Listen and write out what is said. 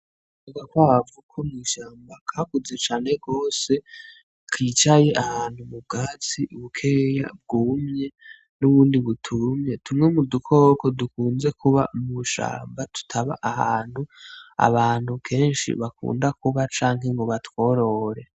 Agakwavu ko mw'ishamba kakuze cane gose, kicaye ahantu mu bwatsi bukeyi bwumye n'ubundi butumye, tumwe mu dukoko dukunze kuba mw'ishamba, tutaba ahantu abantu kenshi bakunda kuba canke ngo batworore.